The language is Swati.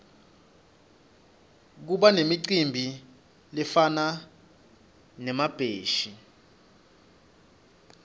kubanemicimbi lefana nemabheshi